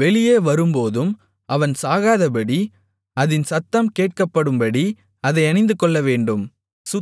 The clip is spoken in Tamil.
வெளியே வரும்போதும் அவன் சாகாதபடி அதின் சத்தம் கேட்கப்படும்படி அதை அணிந்துகொள்ளவேண்டும்